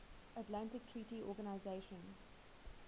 atlantic treaty organisation